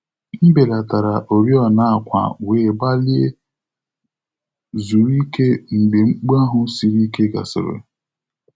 M belatara oriọna àkwà wee gbalịa zuru ike mgbe mkpu ahụ siri ike gasịrị.